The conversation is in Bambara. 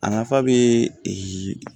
A nafa bɛ